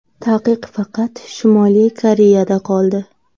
Taqiq faqat Shimoliy Koreyada qoldi.